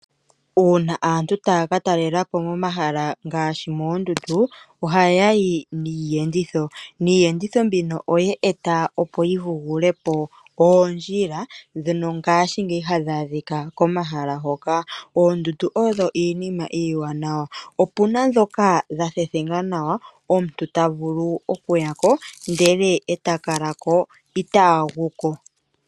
Uuna aantu taya ka talela po momahala ngaashi moondundu ohaya yi niiyenditho, iiyenditho mbino oye eta opo yi vuge po oondjila ndhono ngashingeyi hadhi adhika komahala hoka. Oondundu odho iinima iiwanawa. Opuna ndhoka dhathethenga nawa omuntu tavulu okuya ko ndele takala ko itaagu ko.